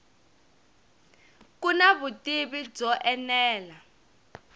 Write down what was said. ku na vutivi byo enela